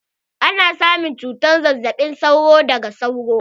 Ana samun cutar zazzaɓin sauro daga sauro.